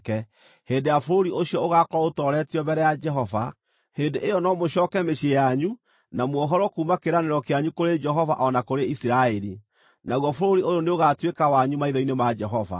hĩndĩ ĩrĩa bũrũri ũcio ũgaakorwo ũtooretio mbere ya Jehova, hĩndĩ ĩyo no mũcooke mĩciĩ yanyu na muohorwo kuuma kĩĩranĩro kĩanyu kũrĩ Jehova o na kũrĩ Isiraeli. Naguo bũrũri ũyũ nĩũgatuĩka wanyu maitho-inĩ ma Jehova.